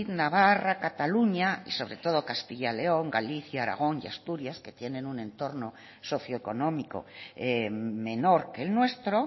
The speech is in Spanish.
navarra cataluña y sobre todo castilla león galicia aragón y asturias que tienen un entorno socioeconómico menor que el nuestro